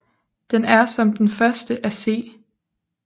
Den er som den første af C